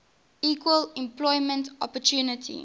equal employment opportunity